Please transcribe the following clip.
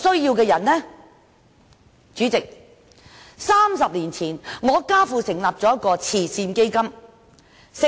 主席，我家父在30年前成立了一個慈善基金。